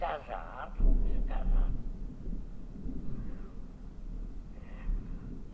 Casaram, se casaram.